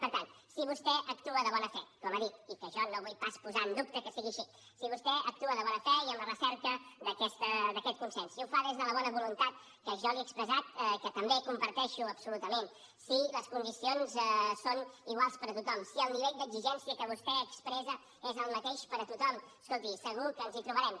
per tant si vostè actua de bona fe com ha dit que jo no vull pas posar en dubte que no sigui així i en la recerca d’aquest consens si ho fa des de la bona voluntat que jo li he expressat que també comparteixo absolutament si les condicions són iguals per a tothom si el nivell d’exigència que vostè expressa és el mateix per a tothom escolti segur que ens hi trobarem